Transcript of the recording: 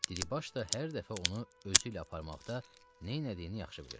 Diribaş da hər dəfə onu özü ilə aparmaqda neynədiyini yaxşı bilirdi.